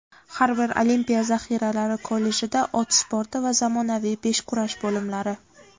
har bir olimpiya zaxiralari kollejida ot sporti va zamonaviy beshkurash bo‘limlari;.